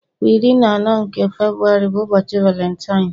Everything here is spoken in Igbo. Kwa iri na anọ nke Febuwari bụ ụbọchị valentine.